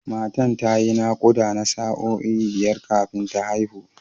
Matan ta yi naƙuda na sa’o’i biyar kafin ta haihu.